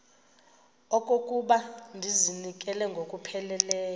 okokuba ndizinikele ngokupheleleyo